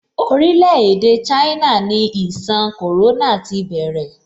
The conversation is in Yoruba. Orile-ede China ni ìṣàn corona ti bẹ̀rẹ̀.